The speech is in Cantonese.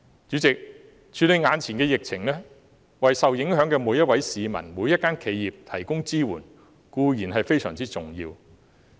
主席，處理眼前的疫情，為受影響的每一位市民、每一家企業提供支援，當然非常重要。